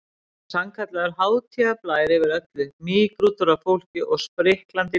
Það var sannkallaður hátíðarblær yfir öllu, mýgrútur af fólki, spriklandi líf og fjör.